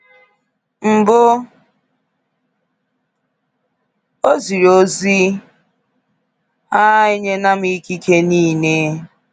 Mbụ, o ziri ozi: a nyela m ikike niile.